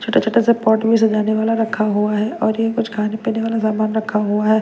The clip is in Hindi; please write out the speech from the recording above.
छोटा-छोटा सा पॉट में सजाने वाला रखा हुआ है और ये कुछ खाने पीने वाला सामान रखा हुआ है।